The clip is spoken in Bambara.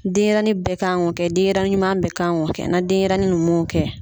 Denyɛrɛanin bɛɛ kan k'o kɛ ,denyɛrɛnin ɲuman bɛɛ kan k'o kɛ na denyɛrɛnin mun m'o kɛ